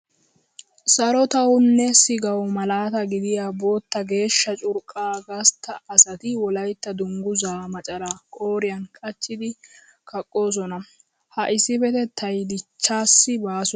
Sarotawu nne sigawu malaata gidiya bootta geeshsha curqqaa gastta asati Wolaytta dungguzaa macaraa qooriyan qachchidi kaqqoosona. Ha issippetettay dichchaassi baaso.